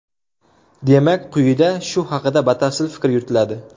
Demak, quyida shu haqida batafsil fikr yuritiladi .